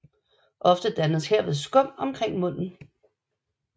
Ofte dannes herved skum omkring munden